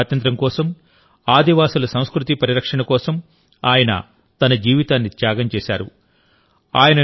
భారతదేశ స్వాతంత్ర్యం కోసం ఆదివాసి సంస్కృతిపరి రక్షణ కోసం ఆయన తన జీవితాన్ని త్యాగం చేశారు